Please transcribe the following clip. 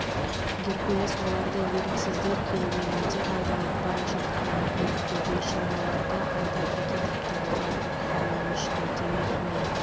геркулес оларды еріксіздер керуенінде айдалып бара жатқанын көріпті бейшараларды айдап әкетіпті олардың халі мүшкіл демек мен